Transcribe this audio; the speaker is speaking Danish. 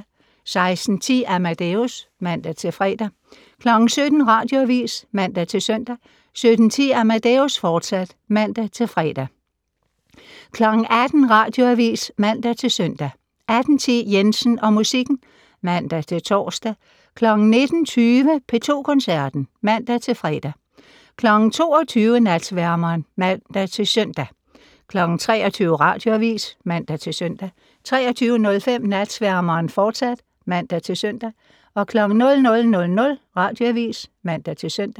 16:10: Amadeus (man-fre) 17:00: Radioavis (man-søn) 17:10: Amadeus, fortsat (man-fre) 18:00: Radioavis (man-søn) 18:10: Jensen og musikken (man-tor) 19:20: P2 Koncerten (man-fre) 22:00: Natsværmeren (man-søn) 23:00: Radioavis (man-søn) 23:05: Natsværmeren, fortsat (man-søn) 00:00: Radioavis (man-søn)